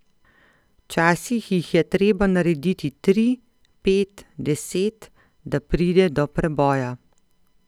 Včasih jih je treba narediti tri, pet, deset, da pride do preboja.